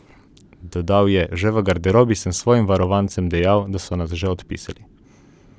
Dodal je: "Že v garderobi sem svojim varovancem dejal, da so nas že odpisali.